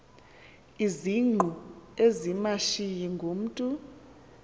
izingqu ezimashiyi ngumntu